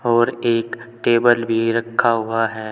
और एक टेबल भी रखा हुआ है।